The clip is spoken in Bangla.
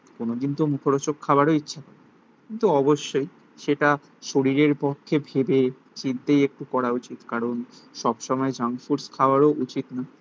কোনদিন তো মুখরোচক খাবারও ইচ্ছে কিন্তু অবশ্যই সেটা শরীরের পক্ষে ভেবে চিন্তেই একটু করা উচিত কারণ সব সময় জাঙ্কফুডস খাওয়ারও উচিত না